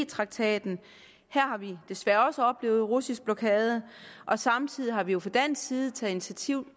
traktaten her har vi desværre også oplevet russisk blokade og samtidig har vi jo fra dansk side taget initiativ